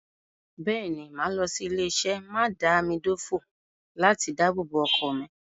Bẹ́ẹ̀ ni, màá lọ sí ilé-iṣé mádàámidòfò láti dábòbò ọkọ̀ mi.